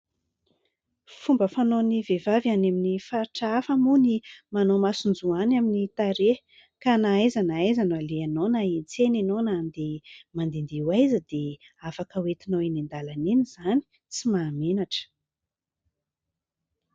Fomba fanaon'ny vehivavy any amin'ny faritra hafa moa no manao masonjoany amin'ny tarehy ka na aiza na aiza no alehanao na hiantsena ianao na andeha mandehandeha ho aiza dia afaka hoentinao eny an-dalana eny izany. Tsy mahamenatra.